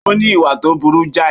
Ó ní ìwà tó burú jáì